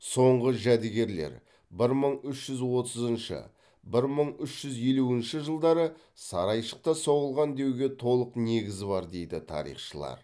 соңғы жәдігерлер бір мың үш жүз отызыншы бір мың үш жүз елуінші жылдары сарайшықта соғылған деуге толық негіз бар дейді тарихшылар